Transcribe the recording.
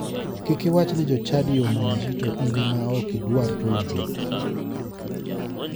Kik iwach ni jochadi omonji to in ema ok idwar chulogi.